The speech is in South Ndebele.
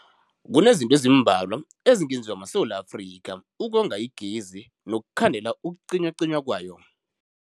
Kunezinto ezimbalwa ezingenziwa maSewula Afrika ukonga igezi nokukhandela ukucinywacinywa kwayo.